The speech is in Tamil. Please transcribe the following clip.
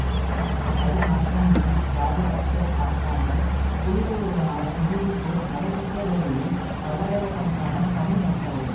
அதுமாத்திரமின்றி ராஜபக்ச அரசாங்கம் புலிகளுடனான இறுதிப்போர் நடைபெற்ற வேளையில் பல்லாயிரக்கணக்கான தமிழ் மக்களை